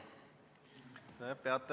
Jah, ongi kolmas, tõepoolest.